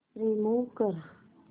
remove कर